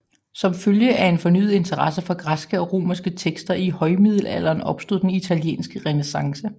Som følge af en fornyet interesse for græske og romerske tekster i højmiddelalderen opstod den italienske renæssance